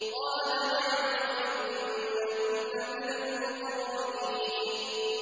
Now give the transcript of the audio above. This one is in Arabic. قَالَ نَعَمْ وَإِنَّكُمْ لَمِنَ الْمُقَرَّبِينَ